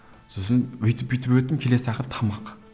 сосын өйтіп бүйтіп өттім келесі тақырып тамақ